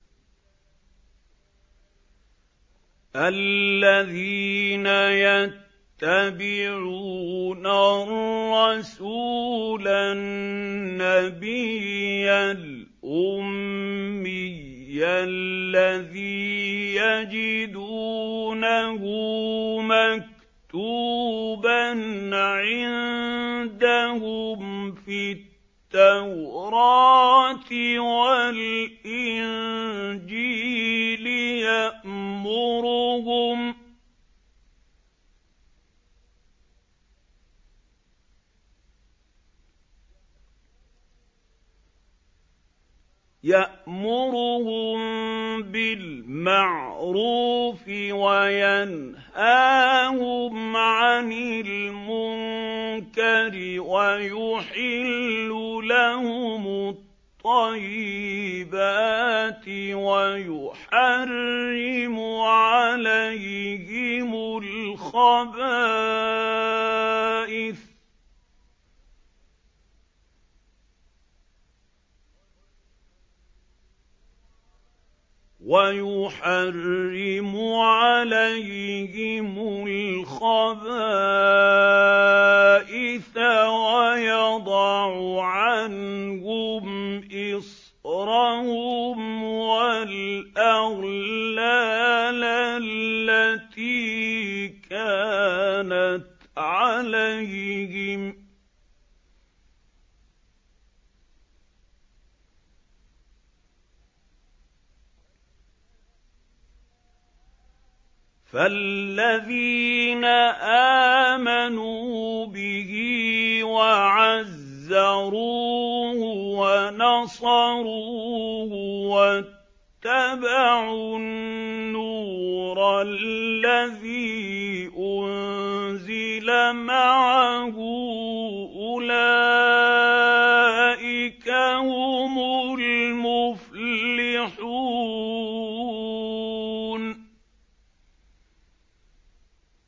الَّذِينَ يَتَّبِعُونَ الرَّسُولَ النَّبِيَّ الْأُمِّيَّ الَّذِي يَجِدُونَهُ مَكْتُوبًا عِندَهُمْ فِي التَّوْرَاةِ وَالْإِنجِيلِ يَأْمُرُهُم بِالْمَعْرُوفِ وَيَنْهَاهُمْ عَنِ الْمُنكَرِ وَيُحِلُّ لَهُمُ الطَّيِّبَاتِ وَيُحَرِّمُ عَلَيْهِمُ الْخَبَائِثَ وَيَضَعُ عَنْهُمْ إِصْرَهُمْ وَالْأَغْلَالَ الَّتِي كَانَتْ عَلَيْهِمْ ۚ فَالَّذِينَ آمَنُوا بِهِ وَعَزَّرُوهُ وَنَصَرُوهُ وَاتَّبَعُوا النُّورَ الَّذِي أُنزِلَ مَعَهُ ۙ أُولَٰئِكَ هُمُ الْمُفْلِحُونَ